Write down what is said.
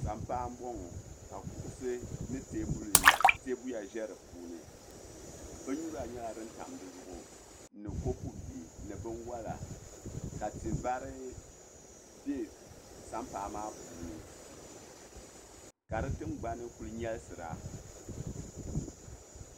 Sampaa m bɔŋɔ ka kuɣusi ni tɛbuya bɛ di puuni binyura nyɛla din tam di zuɣu ni copu bihi ni binwala ka ti vari bɛ sampaa maa puuni ka di tingbani kuli nyɛlisira.